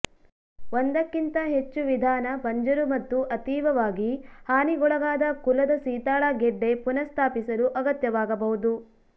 ಒಂದಕ್ಕಿಂತ ಹೆಚ್ಚು ವಿಧಾನ ಬಂಜರು ಮತ್ತು ಅತೀವವಾಗಿ ಹಾನಿಗೊಳಗಾದ ಕುಲದ ಸೀತಾಳ ಗೆಡ್ಡೆ ಪುನಃಸ್ಥಾಪಿಸಲು ಅಗತ್ಯವಾಗಬಹುದು